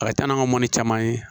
A ka ca n'an ka mɔni caman ye